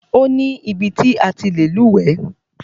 Ó ní ibi ti a ti lè lúwẹ̀ẹ́.